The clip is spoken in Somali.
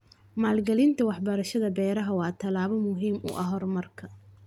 Maalgelinta waxbarashada beeraha waa tallaabo muhiim u ah horumarka.